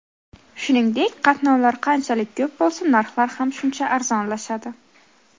Shuningdek, qatnovlar qanchalik ko‘p bo‘lsa narxlar ham shuncha arzonlashadi.